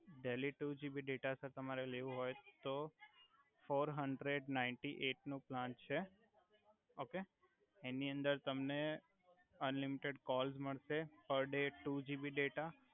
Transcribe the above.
daily two GB data sir તમારે લેવો હોય તો ફોર હંડરેડ નાયંટી એઇટ નો પ્લાન છે ઓકે એનિ અંદર તમને અનલિમિટેડ કોલ્લ્સ મળસે per day two GB data